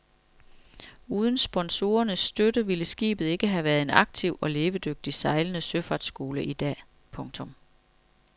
Uden sponsorernes støtte ville skibet ikke have været en aktiv og levedygtig sejlende søfartsskole i dag. punktum